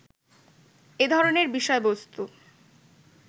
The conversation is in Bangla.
এ ধরনের বিষয়বস্তু